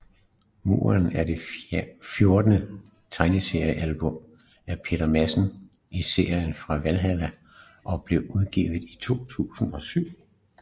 Muren er det fjortende tegneseriealbum af Peter Madsen i serien om Valhalla og blev udgivet i 2007